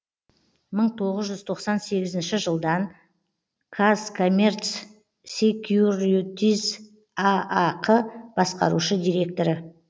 мың тоғыз жүз тоқсан сегізінші жылдан казкоммерцсекьюритиз аақ басқарушы директоры